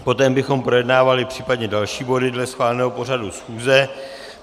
Poté bychom projednávali případně další body dle schváleného pořadu schůze.